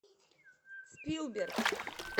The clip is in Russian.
спилберг